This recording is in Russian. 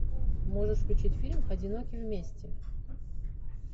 можешь включить фильм одиноки вместе